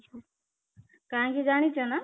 କାହିଁକି ଜାଣିଛ ନା?